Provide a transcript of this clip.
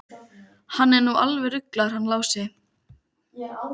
Hann hló og Týri flaðraði upp um hann.